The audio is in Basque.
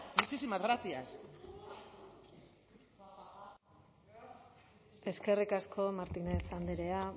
muchísimas gracias eskerrik asko martínez andrea